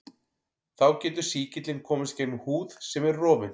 Þá getur sýkillinn komist gegnum húð sem er rofin.